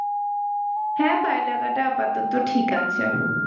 হ্যাঁ পায়ের লাগাটা আপাতত ঠিক আছে,